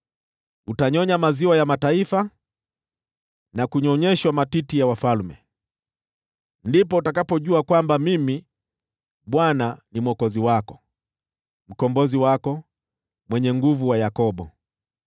Utanyonya maziwa ya mataifa, na kunyonyeshwa matiti ya wafalme. Ndipo utakapojua kwamba Mimi, Bwana , ni Mwokozi wako, Mkombozi wako, niliye Mwenye Nguvu wa Yakobo.